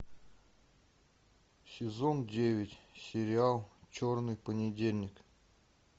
сезон девять сериал черный понедельник